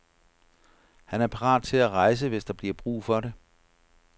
Han er parat til at rejse, hvis der bliver brug for det.